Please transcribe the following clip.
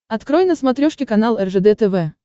открой на смотрешке канал ржд тв